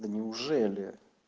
да неужели